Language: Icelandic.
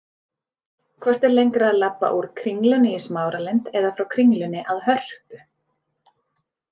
Hvort er lengra að labba úr Kringlunni í Smáralind eða frá Kringlunni að Hörpu?